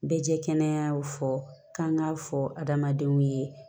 Bɛ jɛ kɛnɛya fɔ k'an k'a fɔ adamadenw ye